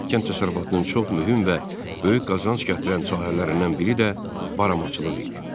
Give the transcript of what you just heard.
Kənd təsərrüfatının çox mühüm və böyük qazanc gətirən sahələrindən biri də baramaçılıq idi.